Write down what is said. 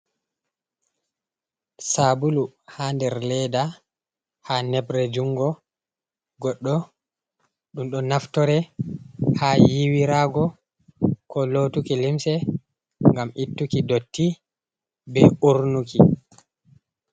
Saabulu haa nder leeda, haa nebre junngo goɗɗo, ɗum ɗo naftore haa yiiwiraago, ko lootuki limse, ngam ittuki ndotti, be uurnuki.